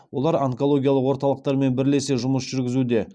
олар онкологиялық орталықтармен бірлесе жұмыс жүргізуде